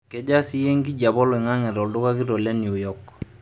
kejaa siiyie enkijape olaing'ang'e to duka kitok le new york